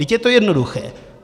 Vždyť je to jednoduché.